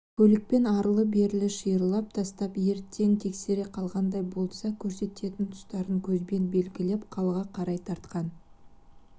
көлікпен арлы-берлі шиырлап тастап ертең тексере қалғандай болса көрсететін тұстарын көзбен белгілеп қалаға қарай тартқан